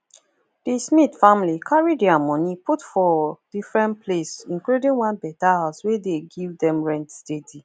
di smith family carry dia money put for different place including one better house wey dey give dem rent steady